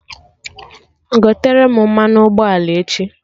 Gotere m mmanụ ụgbọala echi!